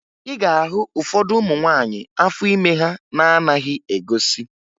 Ị ga-ahụ ụfọdụ ụmụ nwaanyị afọ ime ha na-anaghị egosi